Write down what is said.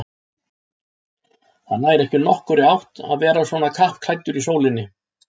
Það nær ekki nokkurri átt að vera svona kappklæddur í sólinni